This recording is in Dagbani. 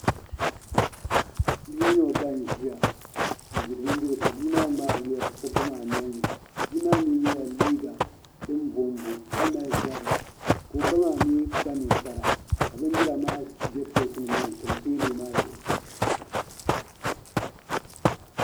Bia mini o ba n ʒiya n diri bindirigu ka bia maa ŋmaari bindirigu maa niŋdi o ba maa nolini bia maa mii yɛla liiga din bonbo ka mali zabiri ka o ba maa mii kpa ninkpara ka bindira maa bɛ pileet nim maa ni n tam teebuli maa zuɣu